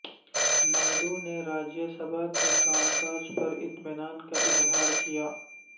نائیڈو نے راجیہ سبھا کے کام کاج پر اطمینان کا اظہار کیا